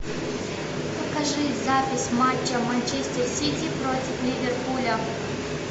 покажи запись матча манчестер сити против ливерпуля